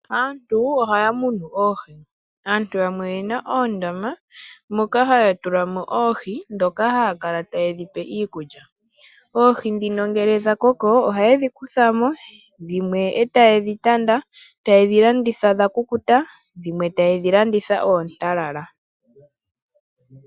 Aantu ohaya munu oohi. Aantu yamwe oye na oondama moka haya tula mo oohi dhoka haya kala taye dhi pe iikulya. Oogi dhino ngele dha koko ohaye dhi kutha mo, dhimwe e taye dhi tanda, taye dhi landitha dha kukuta, dhimwe taye dhi landitha oontalala.